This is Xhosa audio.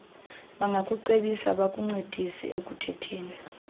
bangakucebisa bakuncedise ekukhetheni